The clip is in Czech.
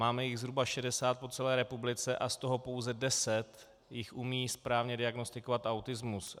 Máme jich zhruba 60 po celé republice a z toho pouze deset jich umí správně diagnostikovat autismus.